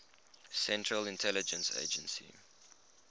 central intelligence agency